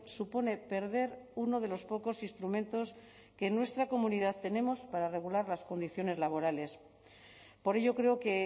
supone perder uno de los pocos instrumentos que en nuestra comunidad tenemos para regular las condiciones laborales por ello creo que